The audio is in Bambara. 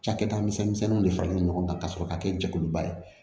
Cakɛda misɛnninw de faralen no ɲɔgɔn kan ka sɔrɔ ka kɛ jɛkuluba ye